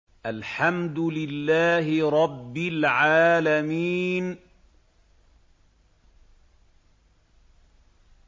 الْحَمْدُ لِلَّهِ رَبِّ الْعَالَمِينَ